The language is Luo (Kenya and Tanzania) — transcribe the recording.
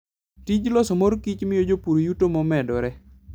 Tij loso mor kich miyo jopur yuto momedore.